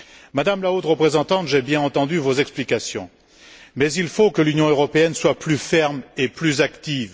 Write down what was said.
Madame la Haute représentante, j'ai bien entendu vos explications, mais il faut que l'Union européenne soit plus ferme et plus active.